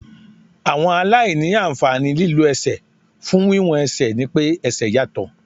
Àwọn aláìní àǹfààní lílọ ẹsẹ̀ fún wíwọ́n ẹsẹ̀ ni pé ẹsẹ̀ yàtọ̀.